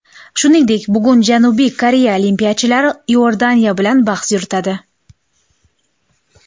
Shuningdek, bugun Janubiy Koreya olimpiyachilari Iordaniya bilan bahs yuritadi.